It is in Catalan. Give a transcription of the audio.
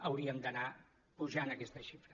hauríem d’anar apujant aquesta xifra